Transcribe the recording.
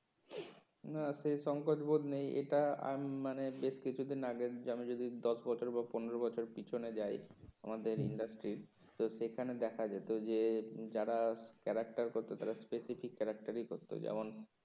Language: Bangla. না সেই সঙ্কচবোধ নেই এটা আমি মানে বেশ কিছুদিন আগের আমি যদি দশ বছর বা পনের বছর পিছনে যাই আমাদের industry এর তো সেখানে দেখা যেত যে যারা character করতো তারা করতো যেমন